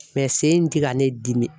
sen in tɛ ka ne dimi.